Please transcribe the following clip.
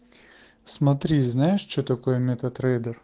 смотри знаешь что такое мета трейдер